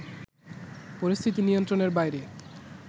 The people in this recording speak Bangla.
পরিস্থিতি নিয়ন্ত্রণের বাইরে